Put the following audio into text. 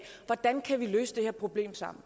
hvordan kan vi løse det her problem sammen